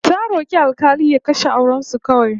Ta rok'i alk'ali ya kashe auren su kawai